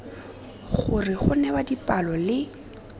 gore go newa dipalo le